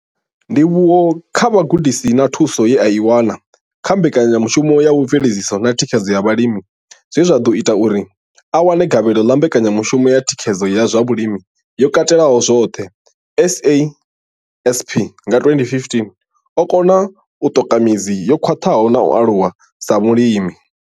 Ndivhuwo kha vhugudisi na thuso ye a i wana kha Mbekanyamushumo ya Mveledziso na Thikhedzo ya Vhalimi zwe zwa ḓo ita uri a wane gavhelo ḽa Mbekanyamushumo ya Thikhedzo ya zwa Vhulimi yo Katelaho zwoṱhe, CASP, nga 2015, o kona u ṱoka midzi yo khwaṱhaho na u aluwa sa mulimi.